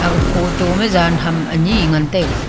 ah photo ma zyan ham anyi ngan taiga.